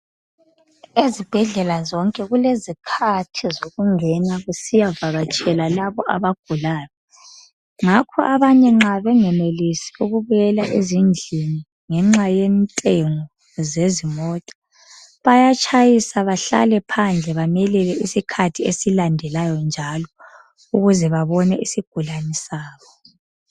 Ezibhedlela zonke kulezikhathi zokungena ,kusiyavakatshelwa labo abagulayo. Ngakho abanye nxa bengenelisi ukubuyela ezindlini ngenxa yentengo yezimota .Bayatshayisa bahlale phandle, bamelele isikhathi esilandelayo njalo .Ukuze babone isigulane sabo .